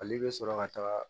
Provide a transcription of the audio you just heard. Ale bɛ sɔrɔ ka taga